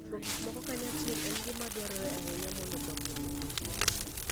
Timo gik moko kanyachiel en gima dwarore ahinya mondo dongruok obedie.